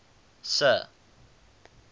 sir